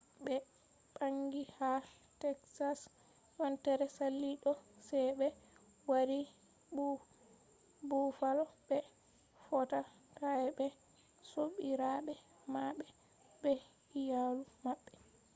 ɓe ɓangi ha teksas yontere sali ɗo sai ɓe wari bufalo ɓe fotta ɓe sobiraɓe maɓɓe be iyalu maɓɓe